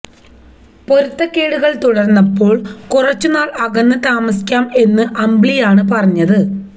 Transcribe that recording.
പൊരുത്തക്കേടുകൾ തുടർന്നപ്പോൾ കുറച്ചു നാൾ അകന്നു താമസിക്കാം എന്ന് അമ്പിളിയാണ് പറഞ്ഞത്